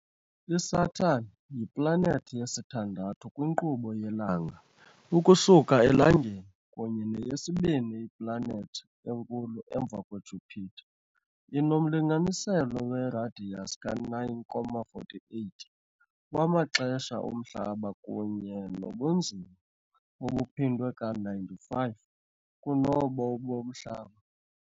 ISaturn yiplanethi yesithandathu kwinkqubo yelanga ukusuka eLangeni kunye neyesibini iplanethi enkulu emva kweJupiter . Inomlinganiselo weradiyasi ka-9.48 wamaxesha oMhlaba kunye nobunzima obuphindwe ka-95 kunobo boMhlaba .